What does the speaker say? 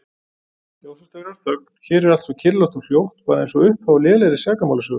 Ljósastaurar, þögn, hér er allt svo kyrrlátt og hljótt, bara einsog upphaf á lélegri sakamálasögu.